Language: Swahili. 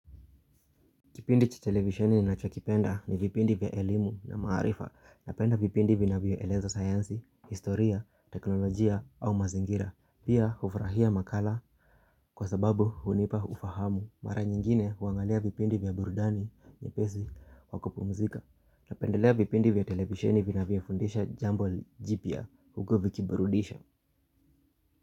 Kipindi cha televisheni ninacho kipenda ni vipindi vya elimu na maarifa napenda vipindi vinavya eleza sayansi, historia, teknolojia au mazingira. Pia hufurahia makala kwa sababu hunipa ufahamu mara nyingine huangalia vipindi vya burudani, nyepesi, wa kupumzika napendelea vipindi vya televisheni vinavyo fundisha jambo jipya huku vikiburudisha.